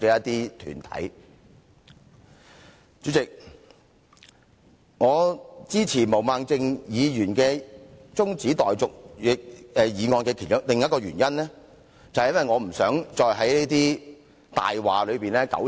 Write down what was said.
代理主席，我支持毛孟靜議員中止待續議案的另一個原因，便是因為我不希望再在一些謊話中糾纏。